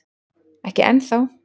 Ekki enn þá